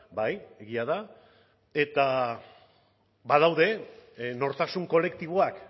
bai egia da eta badaude nortasun kolektiboak